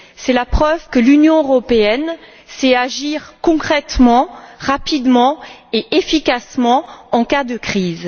C'est la preuve que l'Union européenne sait agir concrètement, rapidement et efficacement en cas de crise.